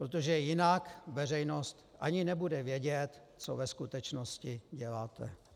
Protože jinak veřejnost ani nebude vědět, co ve skutečnosti děláte.